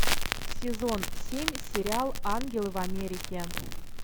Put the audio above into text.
сезон семь сериал ангелы в америке